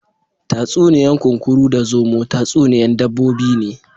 Tatsuniya'n Kunkuru da zomo tatsuniya'n dabbobi ne.